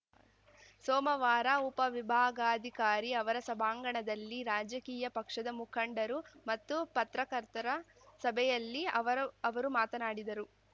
ಸೋಮವಾರ ಉಪವಿಭಾಗಾಧಿಕಾರಿ ಅವರ ಸಭಾಂಗಣದಲ್ಲಿ ರಾಜಕೀಯ ಪಕ್ಷದ ಮುಖಂಡರು ಮತ್ತು ಪತ್ರಕರ್ತರ ಸಭೆಯಲ್ಲಿ ಅವರ ಅವರು ಮಾತನಾಡಿದರು